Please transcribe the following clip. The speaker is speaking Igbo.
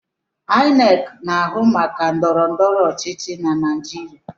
Ainek na-ahụ maka ndọrọndọrọ ochichi n’ala naijiria